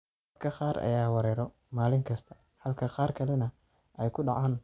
Dadka qaar ayaa weeraro maalin kasta, halka qaar kalena ay ku dhacaan hal mar sanadkii.